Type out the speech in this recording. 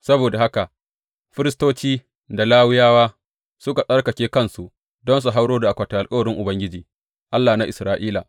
Saboda haka firistoci da Lawiyawa suka tsarkake kansu don su hauro da akwatin alkawarin Ubangiji, Allah na Isra’ila.